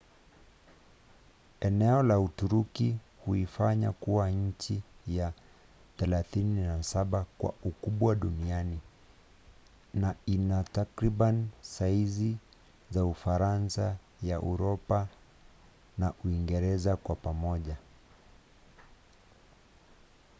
eneo la uturuki huifanya kuwa nchi ya 37 kwa ukubwa duniani na ina takriban saizi za ufaransa ya uropa na uingereza kwa pamoja